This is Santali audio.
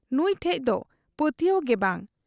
ᱱᱩᱸᱭ ᱴᱷᱮᱫ ᱫᱚ ᱯᱟᱹᱛᱭᱟᱹᱣ ᱜᱮ ᱵᱟᱝ ᱾